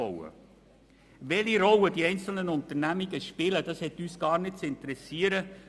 Welche Rolle die einzelnen Unternehmen spielen, hat uns gar nicht zu interessieren.